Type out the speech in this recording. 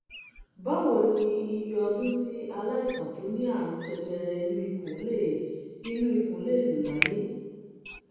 báwo ni iye ọdún tí aláìsàn tó ní àrùn jẹjẹrẹ inú ikùn lè inú ikùn lè lò láyé?